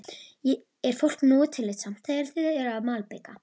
Er fólk nógu tillitsamt þegar þið eruð að malbika?